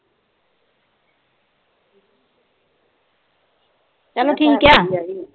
ਚੱਲੋ ਠੀਕ ਹੈ।